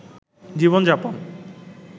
জীবন যাপন